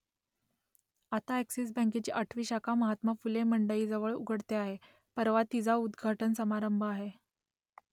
आता अ‍ॅक्सिस बँकेची आठवी शाखा महात्मा फुले मंडईजवळ उघडते आहे परवा तिचा उद्घाटन समारंभ आहे